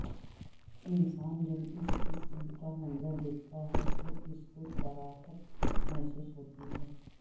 انسان جب اس قسم کا منظر دیکھتا ہے تو اس کو کراہت محسوس ہوتی ہے